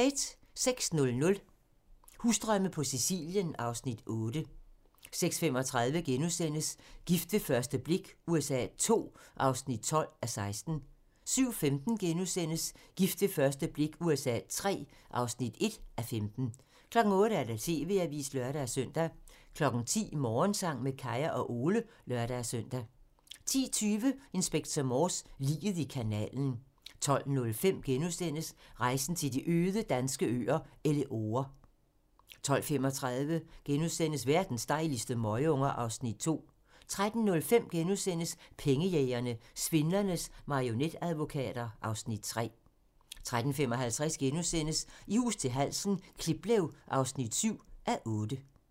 06:00: Husdrømme på Sicilien (Afs. 8) 06:35: Gift ved første blik USA II (12:16)* 07:15: Gift ved første blik USA III (1:15)* 08:00: TV-avisen (lør-søn) 10:00: Morgensang med Kaya og Ole (lør-søn) 10:20: Inspector Morse: Liget i kanalen 12:05: Rejsen til de øde danske øer - Elleore * 12:35: Verdens dejligste møgunger (Afs. 2)* 13:05: Pengejægerne - Svindlernes marionetadvokater (Afs. 3)* 13:55: I hus til halsen - Kliplev (7:8)*